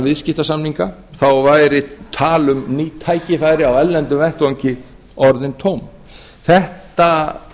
viðskiptasamninga þá væri tal um ný tækifæri á erlendum vettvangi orðin tóm þetta